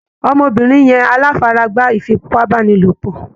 Ọmọbìnrin yẹn aláfaragbá ìfipábánilopọ̀.